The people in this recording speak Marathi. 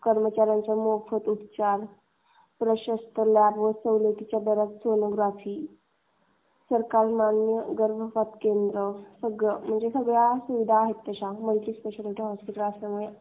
टाटा मोटर्सच्या कर्मचार् यांसाठी मोफत उपचार. प्रशस्त लाभ व सवलतीच्या दरात सोनोग्राफी. सरकारमान्य गर्भपात पण केले ज़ातात. सगळ्या म्हणजे सगळ्या सुविधा आहेत अशा मल्टी स्पेशलिस्ट हॉस्पिटल असल्यामुळे.